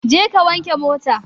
Je ka wanke mota!